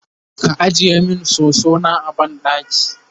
ka ajiye min soso na a banɗaki?